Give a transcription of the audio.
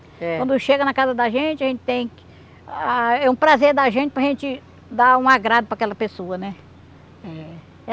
É. Quando chega na casa da gente, a gente tem que ah... É um prazer da gente para gente dar um agrado para aquela pessoa, né? É